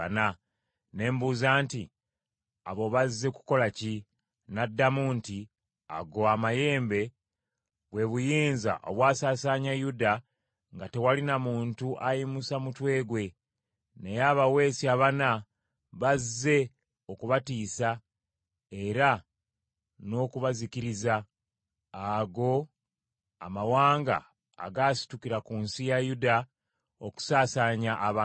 Ne mbuuza nti, “Abo bazze kukola ki?” N’addamu nti, “Ago amayembe, bwe buyinza obwasaasaanya Yuda nga tewali na muntu ayimusa mutwe gwe; naye abaweesi abana bazze okubatiisa era n’okubazikiriza, ago amawanga agaasitukira ku nsi ya Yuda okusaasaanya abantu baamu.”